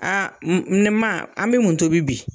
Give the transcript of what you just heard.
Aa ne ma an bɛ mun tobi bi?